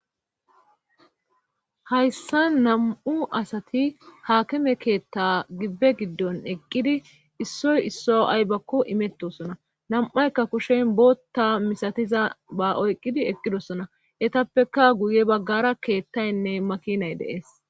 hayssa nam7u asati haakime keetta gibbe giddon eqqidi issoy isso aybakko imettosona nam7aykka kushen bootta misatiza ba oyqqidi eqqidosona etappeka guye baggara keettaynne makinay deees